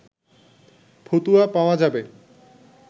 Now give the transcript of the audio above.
ফতুয়া পাওয়া যাবে